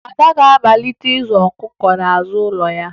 Ada ga-amalite ịzụ ọkụkọ n'azụ ụlọ ha